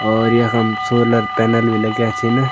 और यखम solar panel भी लग्याँ छिंन।